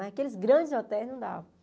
Mas aqueles grandes hotéis não davam.